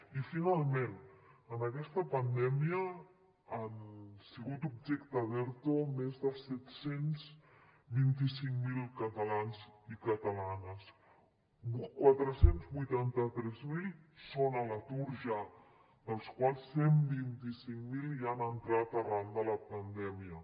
i finalment en aquesta pandèmia han sigut objecte d’erto més de set cents i vint cinc mil catalans i catalanes quatre cents i vuitanta tres mil són a l’atur ja dels quals cent i vint cinc mil hi han entrat arran de la pandèmia